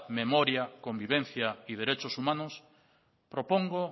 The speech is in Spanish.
memoria convivencia y derechos humanos propongo